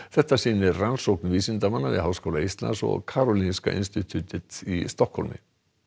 þetta sýnir rannsókn vísindamanna við Háskóla Íslands og Karolinska í Stokkhólmi